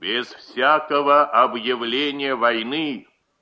без всякого объявления войны